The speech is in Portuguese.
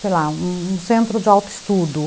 sei lá, um um centro de autoestudo.